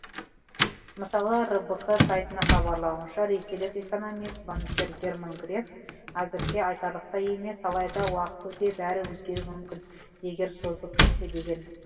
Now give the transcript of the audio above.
мысалы рбк сайтының хабарлауынша ресейлік экономист банкир герман греф әзірге айтарлықтай емес алайда уақыт өте бәрі өзгеруі мүмкін егер созылып кетсе деген